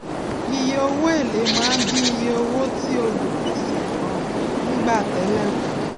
iye owó èlé máa ń dín iye owó tí olùgbèsè um ń gbà tẹlẹ kù